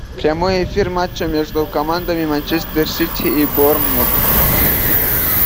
прямой эфир матча между командами манчестер сити и борнмут